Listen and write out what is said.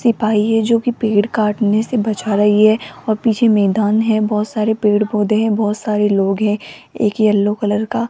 सिपाही है जोकी पेड़ काटने से बचा रही है और पीछे मैदान है बहोत सारे पेड़ पोधै है बहोत सारे लोग है एक येल्लो कलर का--